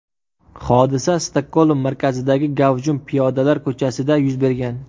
Hodisa Stokgolm markazidagi gavjum piyodalar ko‘chasida yuz bergan.